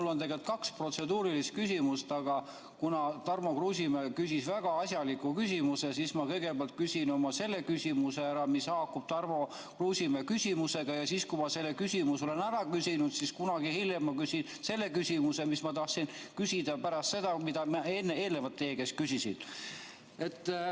Mul on tegelikult kaks protseduurilist küsimust, aga kuna Tarmo Kruusimäe küsis väga asjaliku küsimuse, siis ma kõigepealt küsin oma selle küsimuse ära, mis haakub Tarmo Kruusimäe küsimusega, ja siis, kui ma selle küsimuse olen ära küsinud, kunagi hiljem ma küsin selle küsimuse, mis ma tahtsin küsida pärast seda, kui ma eelnevalt teie käest küsisin.